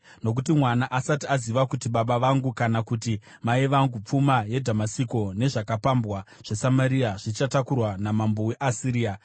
nokuti mwana asati aziva kuti, ‘Baba vangu’ kana kuti, ‘Mai vangu,’ pfuma yeDhamasiko nezvakapambwa zveSamaria zvichatakurwa namambo weAsiria.”